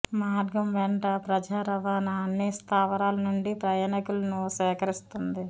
మార్గం వెంట ప్రజా రవాణా అన్ని స్థావరాలు నుండి ప్రయాణికులను సేకరిస్తుంది